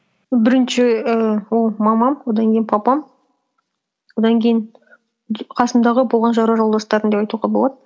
бірінші ііі ол мамам одан кейін папам одан кейін қасымдағы болған жора жолдастарым деп айтуға болады